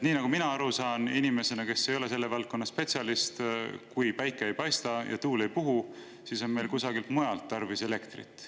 Nii nagu mina saan aru inimesena, kes ei ole selle valdkonna spetsialist, et kui päike ei paista ja tuul ei puhu, siis on meil kusagilt mujalt tarvis elektrit saada.